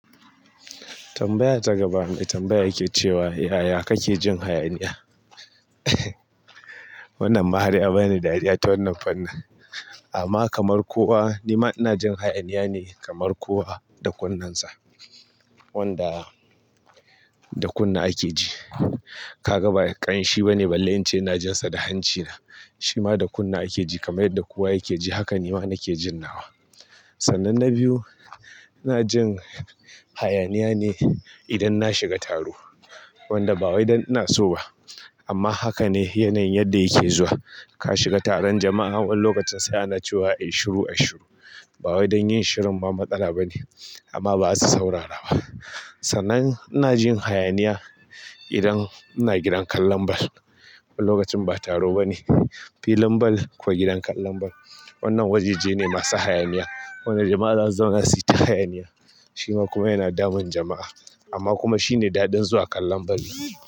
Tambaya ta gaba, mai tambaya yake cewa, "Yaya kake jin hayaniya?" wannan ma har ya bani dariya ta wannan fannin. Amma kamar kowa ni ma ina jin hayaniya ne kamar kowa da kunnensa. Wanda da kunne ake ji. Ka ga ba ƙanshi bane ballen ince ina jin sa da hancina. Shi ma da kunne ake ji kamar yadda kowa yake ji. Haka ni ma nake jin nawa. Sannan na biyu, ina jin hayaniya ne idan na shiga taro. Wanda ba wai dan ina so ba. Amma haka ne yanayin yadda yake zuwa. Ka shiga taron jama'a wani lokacin sai ana cewa "ai shiru, ai shiru." Ba wai dan yin shirun ba matsala bane amma ba za su saurara ba. Sannan ina jin hayaniya idan ina gidan kallon bal. Wani lokacin ba taro bane. Filin ball ko gidan kallon ball. Wannan wajajene masu hayaniya. Wanda jama'a za su zauna su yi ta hayaniya. Shi ma kuma yana damun jama'a. Amma kuma shine daɗin zuwa kallon ball ɗin.